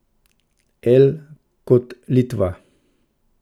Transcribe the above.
L kot Litva.